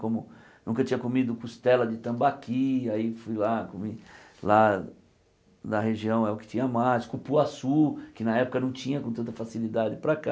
Como, nunca tinha comido costela de tambaqui, aí fui lá, comi lá na região é o que tinha mais, cupuaçu, que na época não tinha com tanta facilidade para cá.